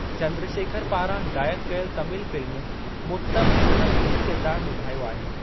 चंद्रशेखर पारां हिदायतु कयल तमिल फिल्म मुत्तम में हुन मुख्य किरदारु निभायो आहे।